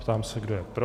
Ptám se, kdo je pro.